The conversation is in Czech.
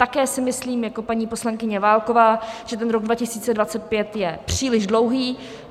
Také si myslím, jako paní poslankyně Válková, že ten rok 2025 je příliš dlouhý.